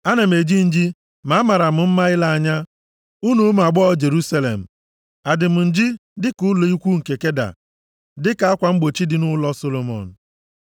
Ana m eji nji ma a maara m mma ile anya, unu ụmụ agbọghọ Jerusalem. Adị m nji dịka ụlọ ikwu nke Keda + 1:5 Ndị Keda bụ otu ebo nʼetiti ndị Arab, obodo ha dị na ndịda ọdịda anyanwụ Edọm. Ha na-ebi nʼụlọ ikwu e ji ajị ewu ojii wuo dịka akwa mgbochi dị nʼụlọ Solomọn.